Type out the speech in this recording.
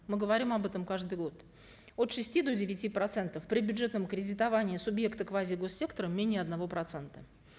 мы говорим об этом каждый год от шести до девяти процентов при бюджетном кредитовании субъекта квазигоссектора менее одного процента